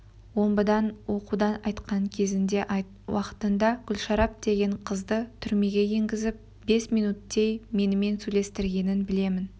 омбыдан оқудан қайтқан кезінде айт уақытында гүлшарап деген қызды түрмеге енгізіп бес минуттей менімен сөйлестіргенін білемін